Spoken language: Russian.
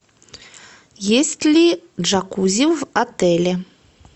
есть ли джакузи в отеле